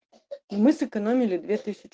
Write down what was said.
мы сэкономили две тысячи